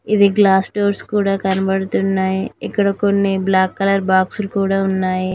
ఇది glass doors కూడా కనబడతున్నాయి ఇక్కడ కొన్ని బ్లాక్ కలర్ బాక్స్ లు కూడా ఉన్నాయి.